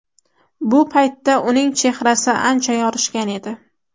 Bu paytda uning chehrasi ancha yorishgan edi.